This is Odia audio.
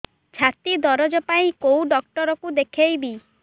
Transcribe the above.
ଛାତି ଦରଜ ପାଇଁ କୋଉ ଡକ୍ଟର କୁ ଦେଖେଇବି